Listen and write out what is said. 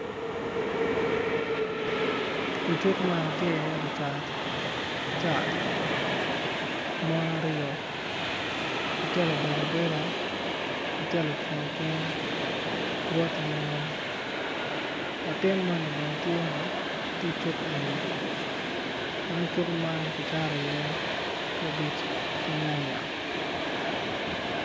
I cuk man tye iye lucat cat mon aryo acel obedo abeda acel ocung acunga latin moni bene tye i cuk eni ma cuk man kicato iye kabij ki nyanynaya.